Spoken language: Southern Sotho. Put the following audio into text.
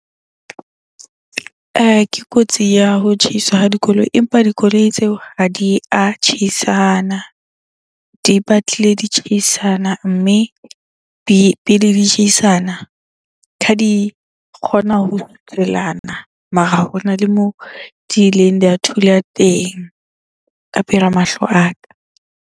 Ke kotsi ya ho tjhaiswa ha dikoloi, empa dikoloi tseo ha di a tjheisana. Di batlile di tjheisana. Mme pele di tjheisana kha di kgona ho kgutlelana mara hona le moo di ileng di a thulana teng ka pela mahlo a ka.